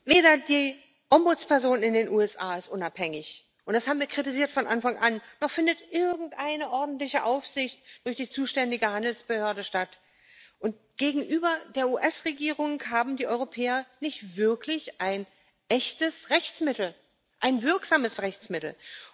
Weder die Ombudsperson in den USA ist unabhängig und das haben wir von Anfang an kritisiert noch findet irgendeine ordentliche Aufsicht durch die zuständige Handelsbehörde statt, und gegenüber der US Regierung haben die Europäer nicht wirklich ein echtes Rechtsmittel, ein wirksames Rechtsmittel.